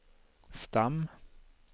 stam